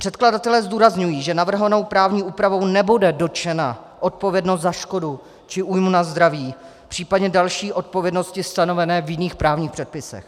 Předkladatelé zdůrazňují, že navrhovanou právní úpravou nebude dotčena odpovědnost za škodu či újmu na zdraví, případně další odpovědnosti stanovené v jiných právních předpisech.